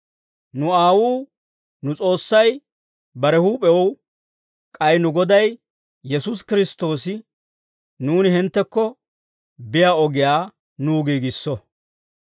Nu Aawuu, nu S'oossay bare huup'ew, k'ay nu Goday Yesuusi Kiristtoosi nuuni hinttekko biyaa ogiyaa nuw giigisso.